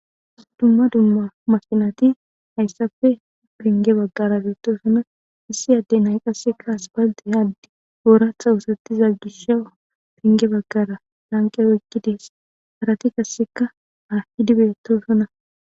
Dumma dumma makinati hayssafe pengge baggara beettosona. Issi adde nay qasseka aspaltte haddi ooratha wusattiza gishaw pengge baggara lanqe woykkides harati qasseka a hidi beettosona.